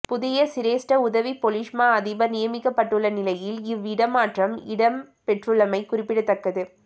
புதிய சிரேஸ்ட உதவிப் பொலிஸ்மா அதிபர் நியமிக்கப்பட்டுள்ள நிலையில் இவ் இடமாற்றம் இடம்பெற்றுள்ளமை குறிப்பிடத்தக்கது